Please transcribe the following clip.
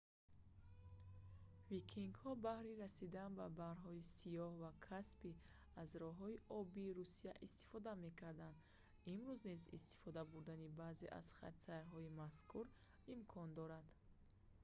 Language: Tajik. викингҳо баҳри расидан ба баҳрҳои сиёҳ ва каспий аз роҳҳои обии русия истифода мекарданд имрӯз низ истифода бурдани баъзе аз хатсайрҳои мазкур имкон дорад